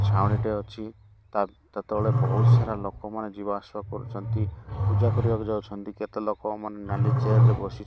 ଛାଉଣିଟେ ଅଛି ତା ତା ତଳେ ବୋହୁତ୍ ସାରା ଲୋକମାନେ ଯିବା ଆସିବା କରୁଛନ୍ତି। ପୂଜା କରିବାକୁ ଯାଉଛନ୍ତି କେତେ ଲୋକମାନେ ନାଲି ଚେୟାର ରେ ବସି --